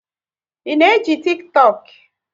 Ị na eji Tiktọk?